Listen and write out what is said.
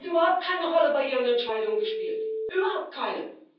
Der hat überhaupt keine Rolle bei Ihren Entscheidungen gespielt, überhaupt keine.